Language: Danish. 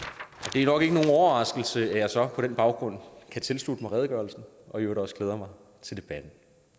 det er nok ikke nogen overraskelse at jeg så på den baggrund kan tilslutte mig redegørelsen og i øvrigt også glæder mig til debatten